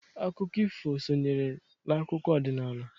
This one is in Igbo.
Akụkọ ifu sonyere n'akụkọ ọdịnnala.